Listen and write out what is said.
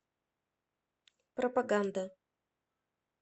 пропаганда